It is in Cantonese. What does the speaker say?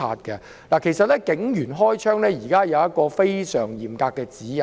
其實，現時警員開槍須遵從非常嚴格的指引。